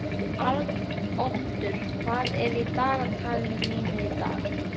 Arnoddur, hvað er í dagatalinu mínu í dag?